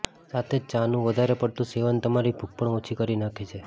સાથે જ ચાનું વધારે પડતું સેવન તમારી ભૂખ પણ ઓછી કરી નાખે છે